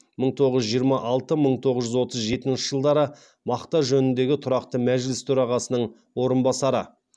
мың тоғыз жүз жиырма алты мың тоғыз жүз отыз жетінші жылдары мақта жөніндегі тұрақты мәжіліс төрағасының орынбасары